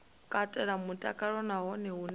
katela mutakalo na hone hune